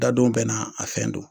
Dadon bɛɛ n'a a fɛn don.